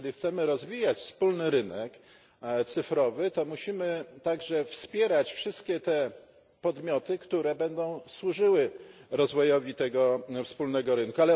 Jeżeli chcemy rozwijać wspólny rynek cyfrowy, to musimy także wspierać wszystkie te podmioty, które będą służyły rozwojowi tego wspólnego rynku.